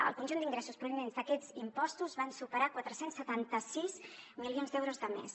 el conjunt d’ingressos provinents d’aquests impostos van superar quatre cents i setanta sis milions d’euros de més